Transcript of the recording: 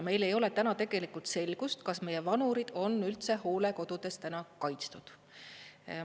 Meil ei ole täna tegelikult selgust, kas meie vanurid on üldse hoolekodudes täna kaitstud.